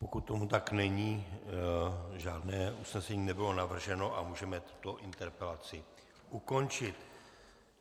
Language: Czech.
Pokud tomu tak není, žádné usnesení nebylo navrženo a můžeme tuto interpelaci ukončit.